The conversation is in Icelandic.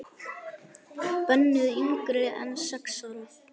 Bönnuð yngri en sex ára.